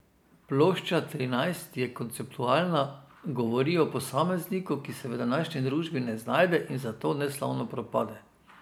Plošča Trinajst je konceptualna, govori o posamezniku, ki se v današnji družbi ne znajde in zato neslavno propade.